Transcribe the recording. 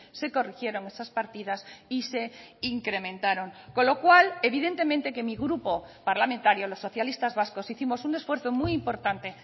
se corrigieron esas partidas y se incrementaron con lo cual evidentemente que mi grupo parlamentario los socialistas vascos hicimos un esfuerzo muy importante